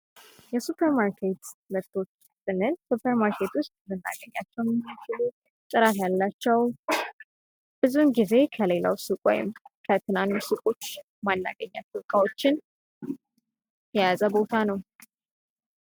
የሱፐርማርኬት ምርቶች ስንል ሱፐርማርኬት ውስጥ የምናገኛቸው ጥራት ያላቸው ፣ ብዙ ጊዜ ከሌላው ሱቅ ወይም ከትንንሽ ሱቆች የማናገኛቸውን ዕቃዎች የያዘ ቦታ ነው ።